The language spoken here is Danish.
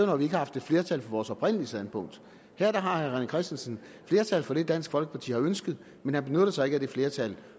når vi ikke har haft et flertal for vores oprindelige standpunkt her har herre rené christensen flertal for det dansk folkeparti har ønsket men han benytter sig ikke af det flertal